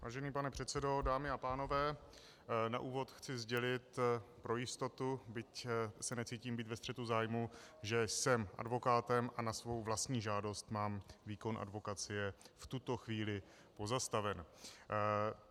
Vážený pane předsedo, dámy a pánové, na úvod chci sdělit pro jistotu, byť se necítím být ve střetu zájmů, že jsem advokátem a na svou vlastní žádost mám výkon advokacie v tuto chvíli pozastaven.